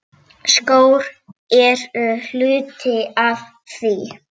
Skór eru hluti af því.